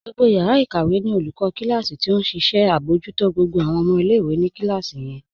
Gbogbo yàrà ikàwẹ̀ ní olùkọ̀ kílásí̀ tí ó nṣẹ abọ̀jútó gbogbo awọn ọmọ ilẹ̀-ìwé ní kílásí yẹn.